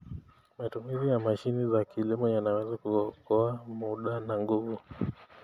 Matumizi ya mashine za kilimo yanaweza kuokoa muda na nguvu.